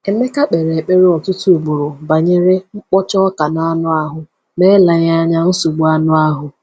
Emeka kpere ekpere ọtụtụ ugboro banyere “mkpọcha ọka n’anụ ahụ,” ma eleghị anya nsogbu anụ ahụ.